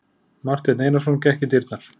Marteinn Einarsson gekk í dyrnar.